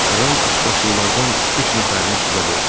Ram üçbaşlılardan üç nəfərini suda boğur.